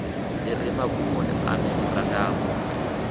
i re magumoni a memorandamu